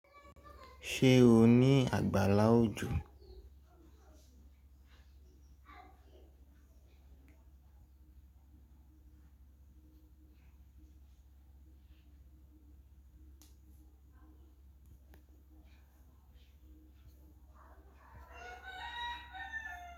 Ṣé o ní àgbàlá òjò?